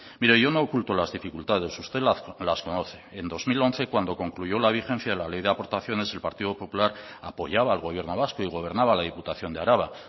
mire yo no oculto las dificultades usted las conoce en dos mil once cuando concluyó la vigencia de la ley de aportaciones el partido popular apoyaba al gobierno vasco y gobernaba la diputación de araba